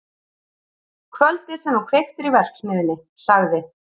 Kvöldið sem þú kveiktir í verksmiðjunni- sagði